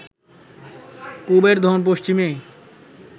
পূবের ধন পশ্চিমে